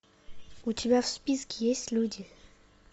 у тебя в списке есть люди